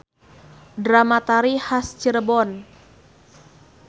Drama-tari has Cirebon.